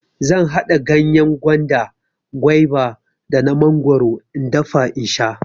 Zan haɗa ganyen gwanda, gwaiba da na mangwaro in dafa in sha.